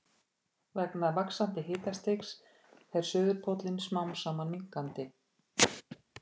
Vegna vaxandi hitastigs fer suðurpóllinn smám saman minnkandi.